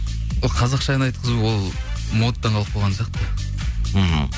қазақша ән айтқызу ол модадан қалып қойған сияқты мхм